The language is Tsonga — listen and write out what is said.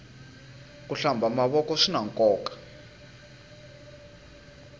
ku hlamba mavoko swinankoka